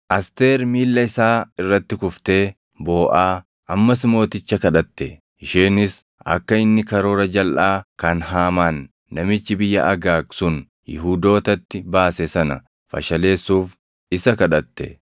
Asteer miilla isaa irratti kuftee booʼaa ammas mooticha kadhatte. Isheenis akka inni karoora jalʼaa kan Haamaan namichi biyya Agaag sun Yihuudootatti baase sana fashaleessuuf isa kadhatte.